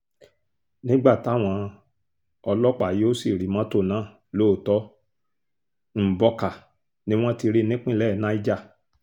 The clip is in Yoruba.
nígbà táwọn ọlọ́pàá yóò sì rí mọ́tò náà lóòótọ́ mbọ̀kà ni wọ́n ti rí i nípínlẹ̀ niger